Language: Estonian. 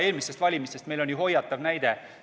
Eelmistest valimistest on meil ju hoiatav näide olemas.